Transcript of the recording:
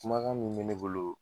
Kumakan min me ne bolo